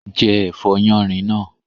Jẹ́ ẹ̀fọ́ yánrin náà